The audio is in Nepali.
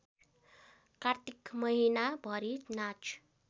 कात्तिक महिनाभरि नाच